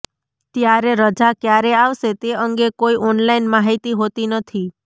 ત્યારે રજા ક્યારે આવશે તે અંગે કોઇ ઓનલાઇન માહીતી હોતી નથી